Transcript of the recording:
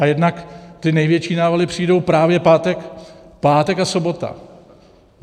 A jednak ty největší návaly přijdou právě pátek a sobota.